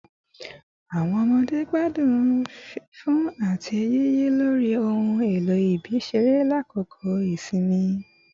Awọn ọmọde gbadun fifun ati yiyi lori ohun elo ibi-iṣere lakoko isinmi